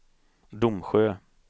Domsjö